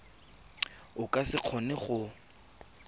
o ka se kgone go